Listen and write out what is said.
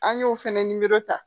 An y'o fɛnɛ nimoro ta